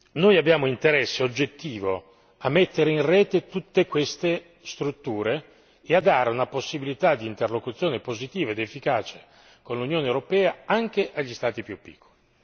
Noi abbiamo interesse oggettivo a mettere in rete tutte queste strutture e a dare una possibilità di interlocuzione positiva ed efficace con l'Unione europea anche agli Stati più piccoli.